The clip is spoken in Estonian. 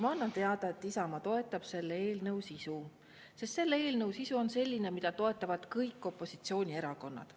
Ma annan teada, et Isamaa toetab selle eelnõu sisu, sest selle eelnõu sisu on selline, mida toetavad kõik opositsioonierakonnad.